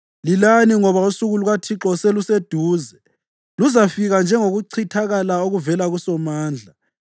Lilani ngoba usuku lukaThixo seluseduze. Luzafika njengokuchithakala okuvela kuSomandla.